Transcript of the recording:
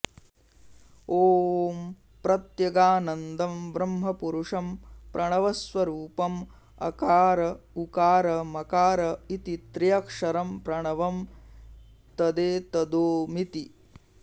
ॐ प्रत्यगानन्दं ब्रह्मपुरुषं प्रणवस्वरूपं अकार उकार मकार इति त्र्यक्षरं प्रणवं तदेतदोमिति